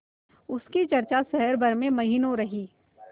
उसकी चर्चा शहर भर में महीनों रही